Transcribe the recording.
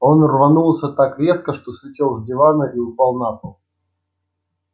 он рванулся так резко что слетел с дивана и упал на пол